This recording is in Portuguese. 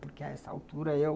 Porque a essa altura eu...